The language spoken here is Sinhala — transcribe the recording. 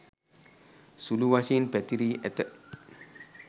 සුළු වශයෙන් පැතිරී ඇත.